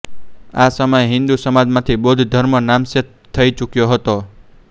આ સમયે હિંદુ સમાજમાંથી બૌદ્ધ ધર્મ નામશેષ થઈ ચૂક્યો હતો